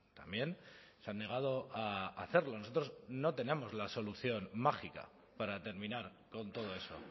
también se han negado a hacerlo nosotros no tenemos la solución mágica para terminar con todo eso